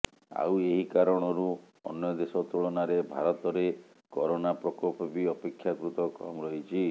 ଆଉ ଏହି କାରଣରୁ ଅନ୍ୟ ଦେଶ ତୁଳନାରେ ଭାରତରେ କରୋନା ପ୍ରକୋପ ବି ଅପେକ୍ଷାକୃତ କମ୍ ରହିଛି